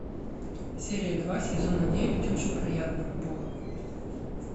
серия два сезона девять очень приятно бог